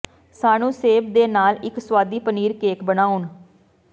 ਸਾਨੂੰ ਸੇਬ ਦੇ ਨਾਲ ਇੱਕ ਸੁਆਦੀ ਪਨੀਰ ਕੇਕ ਬਣਾਉਣ